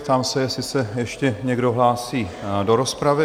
Ptám se, jestli se ještě někdo hlásí do rozpravy?